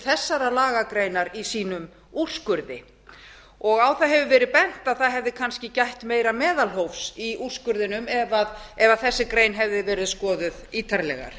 þessarar lagagreinar í sínum úrskurði á það hefur verið bent að það hefði kannski gætt meira meðalhófs í úrskurðinum ef þessi grein hefði verið skoðuð ítarlegar